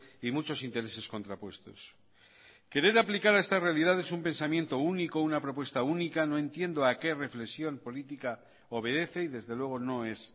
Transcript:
y muchos intereses contrapuestos querer aplicar a esta realidad es un pensamiento único una propuesta única no entiendo a qué reflexión política obedece y desde luego no es